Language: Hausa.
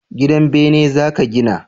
gidan bene za ki gina?